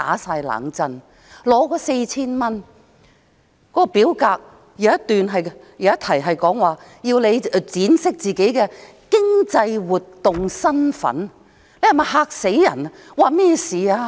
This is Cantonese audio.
此外，申領 4,000 元的表格，有一題是闡釋自己的"經濟活動身分"，是否把人嚇壞？